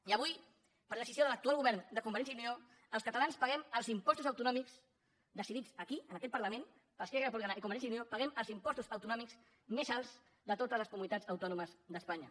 i avui per decisió de l’actual govern de convergència i unió els catalans paguem els impostos autonòmics decidits aquí en aquest parlament per esquerra republicana i convergència i unió més alts de totes les comunitats autònomes d’espanya